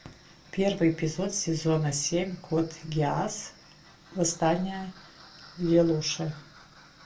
первый эпизод сезона семь кот гиас восстание лелуша